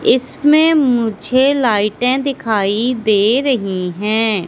इसमें मुझे लाइटें दिखाई दे रही हैं।